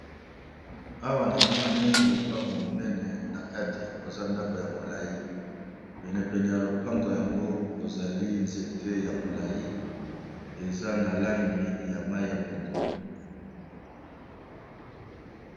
Awa namoni lopango monene na kati koza ndako ya molai penepene ya lopango yango kozali nzete ya molai eza na langi ya mayi ya pondu.